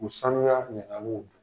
U saniya minɛ na a n'u na